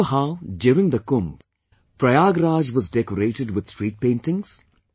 Remember how, during the Kumbh, Prayagraj was decorated with street paintings